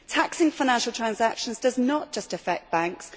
Taxing financial transactions does not just affect banks.